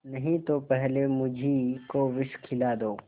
नहीं तो पहले मुझी को विष खिला दो